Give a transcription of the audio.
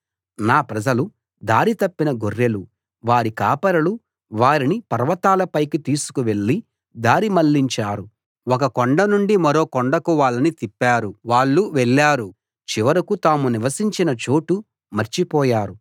నా ప్రజలు దారి తప్పిన గొర్రెలు వారి కాపరులు వారిని పర్వతాల పైకి తీసుకు వెళ్లి దారి మళ్ళించారు ఒక కొండ నుండి మరో కొండకు వాళ్ళని తిప్పారు వాళ్ళు వెళ్ళారు చివరకు తాము నివసించిన చోటు మర్చిపోయారు